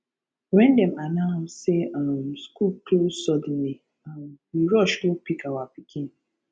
wen dem announce sey um skool close suddenly um we rush go pick our pikin